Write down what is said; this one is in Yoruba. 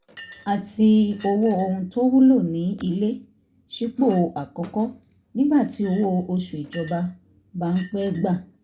àti owó oun tówúlò ní ilé sípò àkọ́kọ́ nígbà tí owó oṣù ìjọba bá ń pẹ́ gbà